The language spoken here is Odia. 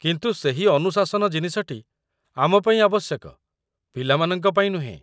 କିନ୍ତୁ ସେହି ଅନୁଶାସନ ଜିନିଷଟି ଆମ ପାଇଁ ଆବଶ୍ୟକ, ପିଲାମାନଙ୍କ ପାଇଁ ନୁହେଁ।